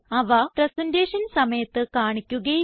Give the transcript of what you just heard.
അവ പ്രസന്റേഷൻ സമയത്ത് കാണിക്കുകയില്ല